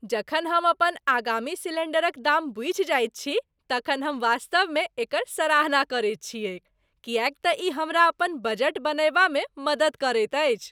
जखन हम अपन आगामी सिलेण्डरक दाम बूझि जाइत छी तखन हम वास्तवमे एकर सराहना करैत छियैक किएक तँ ई हमरा अपन बजट बनयबामे मदति करैत अछि।